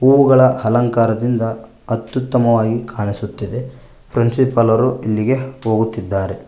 ಹೂಗಳ ಅಲಂಕಾರದಿಂದ ಅತ್ಯುತ್ತಮವಾಗಿ ಕಾಣಿಸುತ್ತಿದೆ ಫ್ರೆಂಡಶಿಪ್ ಎಲ್ಲಾರು ಇಲ್ಲಿಗೆ ಹೋಗುತ್ತಿದ್ದಾರೆ.